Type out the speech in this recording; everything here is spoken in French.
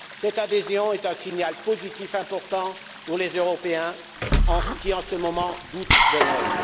Cette adhésion est un signal positif important pour les Européens qui, en ce moment, doutent d'eux mêmes.